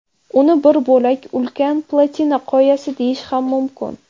Uni bir bo‘lak ulkan platina qoyasi deyish ham mumkin.